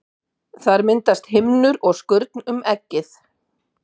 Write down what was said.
Þar myndast himnur og skurn um eggið.